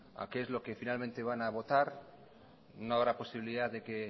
a qué es lo que finalmente van a votar no habrá posibilidad de que